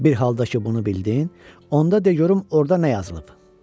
Bir haldakı bunu bildin, onda de görüm orda nə yazılıb.